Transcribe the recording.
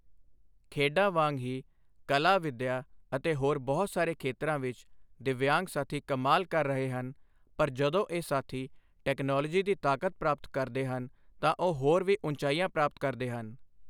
ਖੇਡਾਂ ਵਾਂਗ ਹੀ ਕਲਾ, ਵਿੱਦਿਆ ਅਤੇ ਹੋਰ ਬਹੁਤ ਸਾਰੇ ਖੇਤਰਾਂ ਵਿੱਚ ਦਿੱਵਯਾਂਗ ਸਾਥੀ ਕਮਾਲ ਕਰ ਰਹੇ ਹਨ ਪਰ ਜਦੋਂ ਇਹ ਸਾਥੀ ਟੈਕਨੋਲੋਜੀ ਦੀ ਤਾਕਤ ਪ੍ਰਾਪਤ ਕਰਦੇ ਹਨ ਤਾਂ ਉਹ ਹੋਰ ਵੀ ਉਚਾਈਆਂ ਪ੍ਰਾਪਤ ਕਰਦੇ ਹਨ।